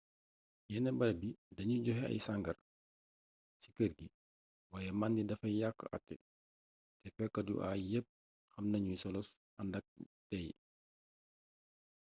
yenn barab yi dañuy joxe ay sangar ci kër gi waaye mandi dafay yàq até te fokat yu aay yépp xam nañu solos àndak teey